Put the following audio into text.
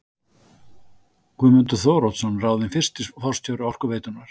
Guðmundur Þóroddsson ráðinn fyrsti forstjóri Orkuveitunnar.